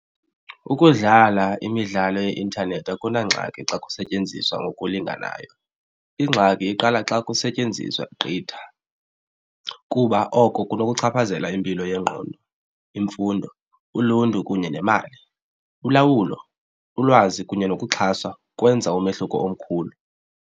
Ukudlala imidlalo yeintanethi akunangxaki xa kusetyenziswa ngokulinganayo. Ingxaki iqala xa kusetyenziswa gqitha kuba oko kunokuchaphazela impilo yengqondo, imfundo, uluntu kunye nemali. Ulawulo, ulwazi kunye nokuxhaswa kwenza umehluko omkhulu.